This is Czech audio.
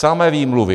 Samé výmluvy.